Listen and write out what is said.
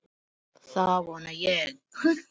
Það vona ég